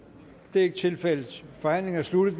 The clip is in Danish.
det er ikke tilfældet forhandlingen er sluttet